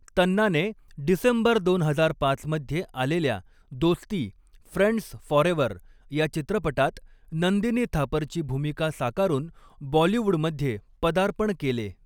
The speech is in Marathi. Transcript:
तन्नाने डिसेंबर दोन हजार पाच मध्ये आलेल्या दोस्ती, फ्रेंड्स फॉरेव्हर या चित्रपटात नंदिनी थापरची भूमिका साकारून बॉलिवूडमध्ये पदार्पण केले.